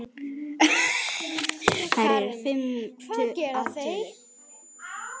Karen: Hvað gera þeir?